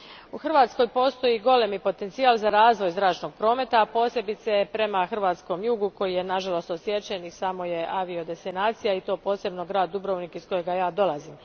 U Hrvatskoj postoji golemi potencijal za razvoj zračnog prometa, a posebice prema hrvatskom jugu koji je nažalost odsječen i samo je avio destinacija, i to posebno grad Dubrovnik iz kojega ja dolazim.